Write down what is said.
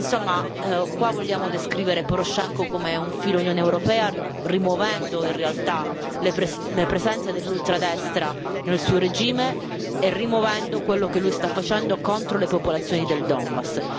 Insomma, qua vogliamo descrivere Porošenko come filo Unione europea, rimuovendo, in realtà, le presenze dell'ultradestra nel suo regime e rimuovendo quello che lui sta facendo contro le popolazioni del Donbas.